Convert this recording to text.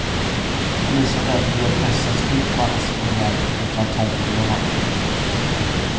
Polisen har därför via pressen spritt mannens signalement och en fantombild av mannen.